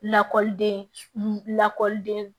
Lakɔliden lakɔliden